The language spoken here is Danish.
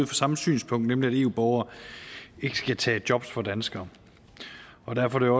det samme synspunkt nemlig at eu borgere ikke skal tage job fra danskere og derfor er